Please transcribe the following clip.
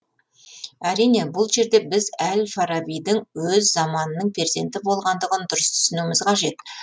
әрине бұл жерде біз әл фарабидің өз заманының перзенті болғандығын дұрыс түсінуіміз қажет